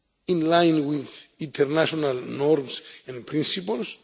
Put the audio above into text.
this issue, in line with international standards and principles.